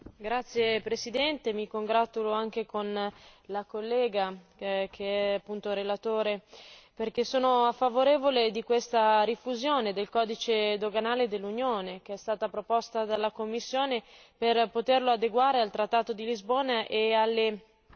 Signora Presidente, mi congratulo anche con la collega, che è appunto anche relatore, perché sono favorevole a questa rifusione del codice doganale dell'Unione, come proposta dalla Commissione, per poterlo adeguare al trattato di Lisbona e alle